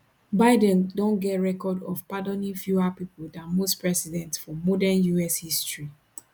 biden don get record of pardoning fewer pipo dan most presidents for modern us history